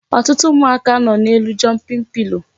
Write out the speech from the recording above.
Ọtụtụ ụmụaka nọ n'elu jumping pillow